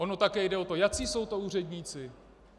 Ono také jde o to, jací jsou to úředníci.